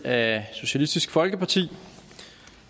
af socialistisk folkeparti